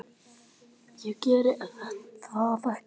Ég geri það ekki.